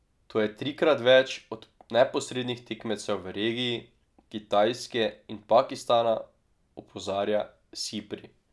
To je trikrat več od neposrednih tekmecev v regiji, Kitajske in Pakistana, opozarja Sipri.